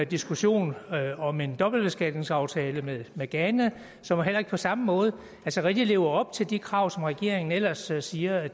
diskussion om en dobbeltbeskatningsaftale med med ghana som heller ikke på samme måde rigtig lever op til de krav som regeringen ellers siger at